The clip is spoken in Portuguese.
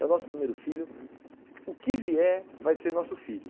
É o nosso primeiro filho, o que vier vai ser nosso filho.